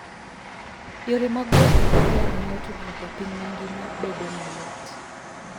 Yore mag wuoth e kor yamo miyo tudruok e piny mangima bedo mayot.